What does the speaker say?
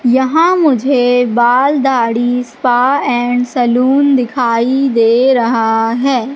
यहां मुझे बाल दाढ़ी स्पा एंड सैलून दिखाई दे रहा है।